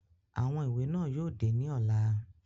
Awọn iwe náa yóò de ni ọla